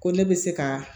Ko ne bɛ se ka